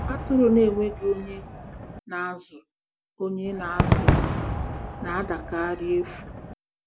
Atụrụ na-enweghị onye na-azụ onye na-azụ ha na-adakarị efu.